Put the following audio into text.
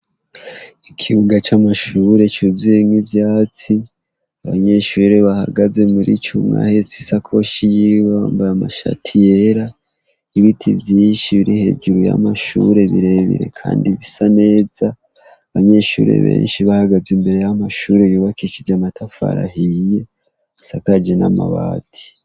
Ikibuga c'amashure cuzuyemwo ivyatsi abanyeshure bahagaze muri cumwa hetse isakoshi yiwe mbaye amashati yera ibiti vyinshi biri hejuru y'amashure birebire, kandi bisa neza abanyeshure benshi bahagaze imbere y'amashure yubakishije amatafari ahiye asakaje n'amabati.